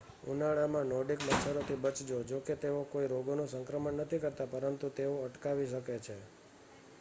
ઉનાળામાં નોર્ડિક મચ્છરોથી બચજો જો કે તેઓ કોઈ રોગોનું સંક્રમણ નથી કરતા પરંતુ તેઓ અકળાવી શકે છે